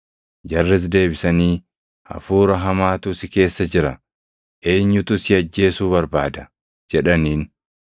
Jarris deebisanii, “Hafuura hamaatu si keessa jira; eenyutu si ajjeesuu barbaada?” jedhaniin.